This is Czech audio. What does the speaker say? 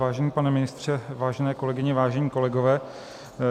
Vážený pane ministře, vážené kolegyně, vážení kolegové.